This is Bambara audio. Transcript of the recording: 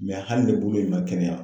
hali ni bolo in man kɛnɛya.